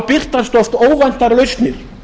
birtast oft óvæntar lausnir